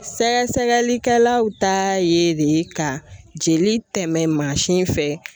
Sɛgɛsɛgɛlikɛlaw taa ye de ka jeli tɛmɛ fɛ